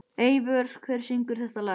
Eivör, hver syngur þetta lag?